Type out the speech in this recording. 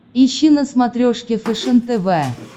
ищи на смотрешке фэшен тв